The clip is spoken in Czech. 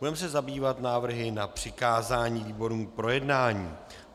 Budeme se zabývat návrhy na přikázání výborům k projednání.